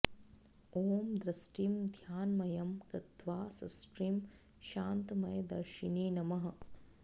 ॐ दृष्टिं ध्यानमयं कृत्वा सृष्टिं शान्तमय दर्शिने नमः